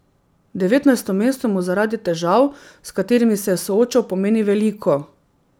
Devetnajsto mesto mu zaradi težav, s katerimi se je soočal, pomeni veliko.